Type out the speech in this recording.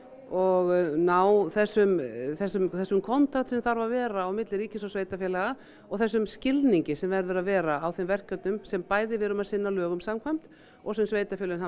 og ná þessum þessum þessum kontakt sem þarf að vera á milli ríkis og sveitarfélaga og þessum skilningi sem verður að vera á þeim verkefnum sem við bæði erum að sinna lögum samkvæmt og sem sveitarfélögin hafa